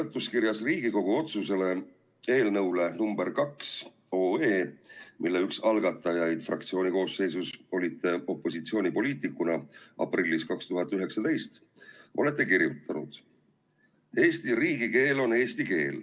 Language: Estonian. Seletuskirjas Riigikogu otsuse eelnõu nr 2 kohta, mille üks algatajaid te opositsioonipoliitikuna 2019. aasta aprillis olite, olete kirjutanud: "Eesti riigikeel on eesti keel.